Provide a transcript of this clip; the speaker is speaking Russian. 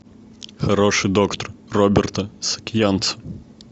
хороший доктор роберта саакянца